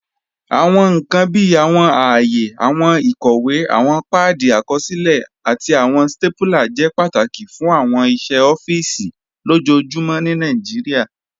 Awọn nkan bíi awọn àayè, awọn ikọwe, awọn paadi àkọsilẹ̀, àti awọn stapúlà jẹ́ pátákì fún awọn iṣẹ̀ ọ̀fíìsì lojoojumọ̀ ní Nàìjíríà.